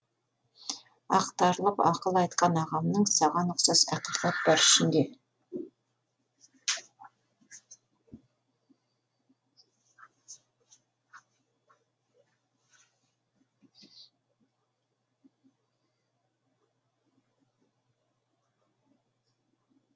ақтарылып ақыл айтқан ағамның саған ұқсас ақиқат бар ішінде